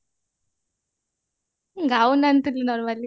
gown ଆଣିଥିଲି normally